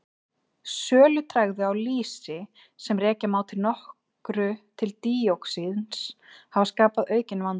Sölutregðu á lýsi, sem rekja má að nokkru til díoxíns hafa skapað aukinn vanda.